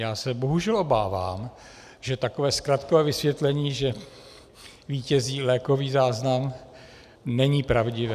Já se bohužel obávám, že takové zkratkové vysvětlení, že vítězí lékový záznam, není pravdivé.